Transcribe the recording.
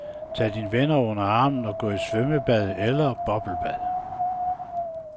Tag dine venner under armen og gå i svømmebad eller bobblebad.